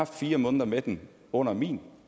fire måneder med den under min